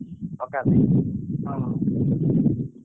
Pucca pitch ।